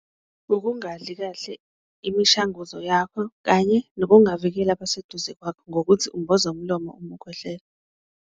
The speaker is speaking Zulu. Ukungadli kahle imishanguzo yakho kanye nokungavikeleki abaseduze kwakho ngokuthi umboze umlomo uma ukhwehlela.